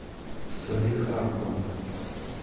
салехардом